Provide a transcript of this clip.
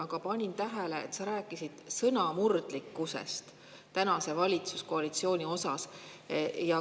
Aga ma panin tähele, et sa rääkisid praeguse valitsuskoalitsiooni sõnamurdlikkusest.